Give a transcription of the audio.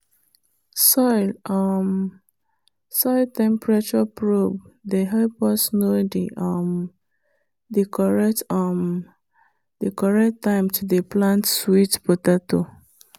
soil um temperature probe dey help us know the um correct um time to dey plant sweet potato.